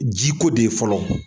Jiko de ye fɔlɔ.